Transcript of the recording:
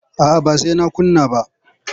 A'a ba sai na kunna ba.